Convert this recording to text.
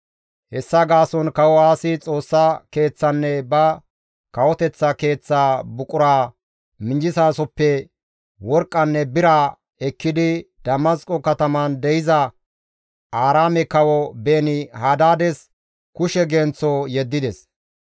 Hessa gaason kawo Aasi Xoossa Keeththanne ba kawoteththa keeththaa buquraa minjjizasoppe worqqanne bira ekkidi Damasqo kataman de7iza Aaraame kawo Beeni-Hadaades kushe genththo yeddides.